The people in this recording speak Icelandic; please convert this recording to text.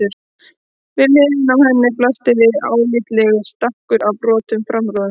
Við hliðina á henni blasti við álitlegur stakkur af brotnum framrúðum.